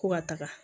Ko ka taga